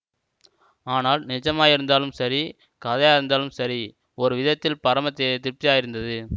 ஆனால் நிஜமாயிருந்தாலும் சரி கதையாயிருந்தாலும் சரி ஒரு விதத்தில் பரம திருப்தியாயிருந்தது